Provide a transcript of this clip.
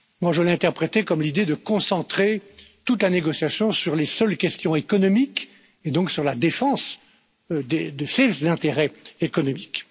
J'ai interprété cela comme l'idée de concentrer toute la négociation sur les seules questions économiques et donc sur la défense de ses intérêts économiques.